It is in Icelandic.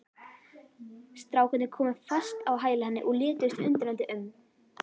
Strákarnir komu fast á hæla henni og lituðust undrandi um.